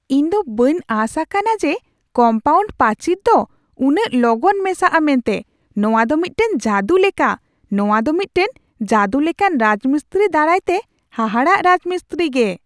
ᱤᱧ ᱫᱚ ᱵᱟᱹᱧ ᱟᱸᱥ ᱟᱠᱟᱱᱟ ᱡᱮ ᱠᱚᱢᱯᱟᱣᱩᱱᱰ ᱯᱟᱹᱪᱤᱨ ᱫᱚ ᱩᱱᱟᱹᱜ ᱞᱚᱜᱚᱱ ᱢᱮᱥᱟᱜᱼᱟ ᱢᱮᱱᱛᱮ ᱱᱚᱶᱟ ᱫᱚ ᱢᱤᱫᱴᱟᱝ ᱡᱟᱹᱫᱩ ᱞᱮᱠᱟ ᱾ ᱱᱚᱶᱟ ᱫᱚ ᱢᱤᱫᱴᱟᱝ ᱡᱟᱹᱫᱩ ᱞᱮᱠᱟᱱ ᱨᱟᱡᱽᱢᱤᱥᱛᱨᱤ ᱫᱟᱨᱟᱭ ᱛᱮ ᱦᱟᱦᱟᱲᱟᱜ ᱨᱟᱡᱽ ᱢᱤᱥᱛᱨᱤ ᱜᱮ ᱾